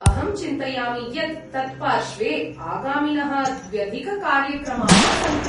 अहं चिन्तयामि यत् तत्पार्श्वे आगामिनः द्व्यधिककार्यक्रमाः सन्ति।